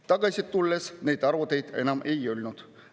Iga kord tagasi tulles neid arvuteid enam ei olnud.